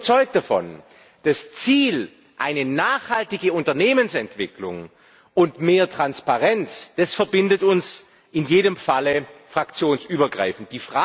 Denn ich bin überzeugt davon Das Ziel, eine nachhaltige Unternehmensentwicklung und mehr Transparenz, verbindet uns in jedem Falle fraktionsübergreifend.